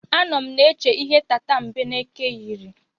Anọ m na-eche ihe tatambeneke yiri.